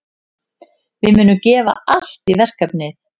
Við munum gefa allt í verkefnið.